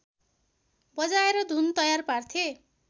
बजाएर धुन तयार पार्थे